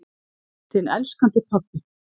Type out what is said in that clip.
Þinn elskandi pabbi.